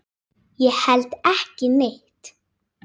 Ég held ekki neitt.